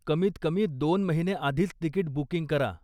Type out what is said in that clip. कमीत कमी दोन महिने आधीच तिकीट बुकिंग करा.